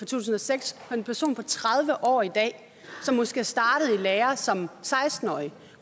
tusind og seks kan en person på tredive år i dag som måske er startet i lære som seksten årig